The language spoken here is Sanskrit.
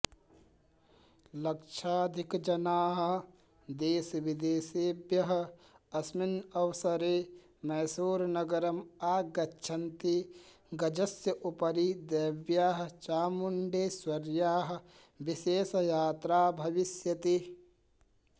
लक्षाधिकजनाः देशविदेशेभ्यः अस्मिन्नवसरे मैसूरनगरम् आगच्छन्ति गजस्योपरि देव्याः चामुण्डेश्वर्याः विशेषयात्रा भविष्यति